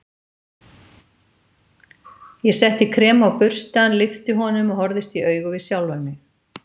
Ég setti krem á burstann, lyfti honum og horfðist í augu við sjálfan mig.